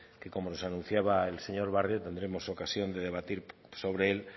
que como nos anunciaba el señor barrio tendremos ocasión de debatir sobre él